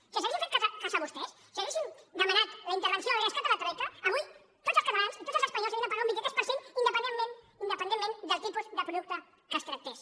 si els haguéssim fet cas a vostès si haguéssim demanat la intervenció el rescat de la troica avui tots els catalans i tots els espanyols haurien de pagar un vint tres per cent independentment del tipus de producte que es tractés